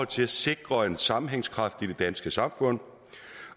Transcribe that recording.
til at sikre en sammenhængskraft i det danske samfund